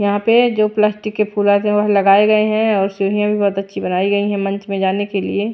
यहां पे जो प्लास्टिक के फूल आते हैं वह लगाए गए हैं और सीढ़ियां भी बहुत अच्छी बनाई गई है मंच में जाने के लिए।